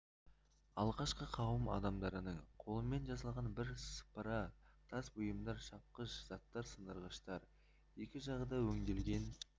алғашқы қауым адамдарының қолымен жасалған бірсыпыра тас бұйымдар шапқыш заттар сындырғыштар екі жағы да өңделген